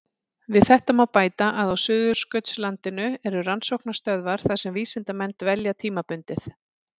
Við þetta má bæta að á Suðurskautslandinu eru rannsóknarstöðvar þar sem vísindamenn dvelja tímabundið.